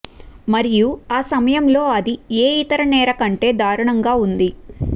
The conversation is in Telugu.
మరియు ఆ సమయంలో అది ఏ ఇతర నేర కంటే దారుణంగా ఉంది